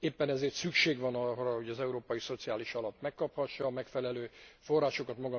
Éppen ezért szükség van arra, hogy az Európai Szociális Alap megkaphassa a megfelelő forrásokat.